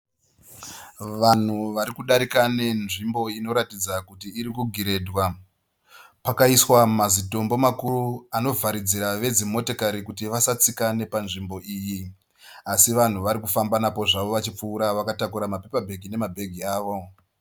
Vanhu vari kudarika nenzvimbo iri kuradza kuti ari kugiredhwa. Pakaiswa mazitombo makuru anovharidzira vedzimotikari kuti vasatsika nepanzvimbo iyi. Asi vanhu vari kufamba napo zvavo vachipfuura vakatakura mapepabheki nemabhegi avo.